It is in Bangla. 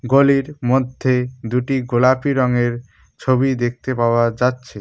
গলির মধ্যে দুটি গোলাপি রঙের ছবি দেখতে পাওয়া যাচ্ছে।